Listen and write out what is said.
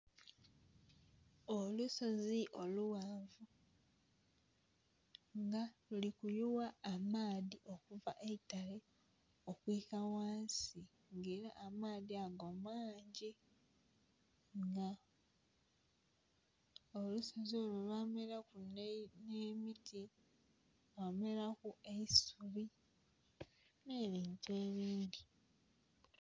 Olusozi olughanvu nga lulikuyugha amaadhi okuva eitale okwiika ghansi nga era amaadhi ago mangyi nga olusozi olwameraku nhemiti lwameraku eisuubi nhebintu ebindi